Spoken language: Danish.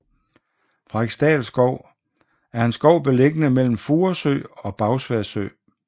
Frederiksdal Skov er en skov beliggende mellem Furesø og Bagsværd Sø